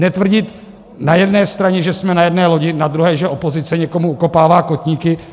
Netvrdit na jedné straně, že jsme na jedné lodi, na druhé, že opozice někomu okopává kotníky.